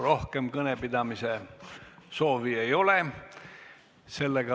Rohkem kõnepidamise soovi ei ole.